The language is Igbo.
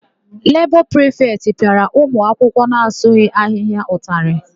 Lebọ prịfetị pịara ụmụakwụkwọ na-asụghị ahịhịa ụtalị.